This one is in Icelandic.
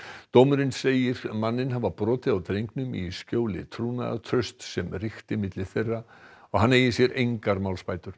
dómurinn segir manninn hafa brotið á drengnum í skjóli trúnaðartrausts sem ríkti milli þeirra og hann eigi sér engar málsbætur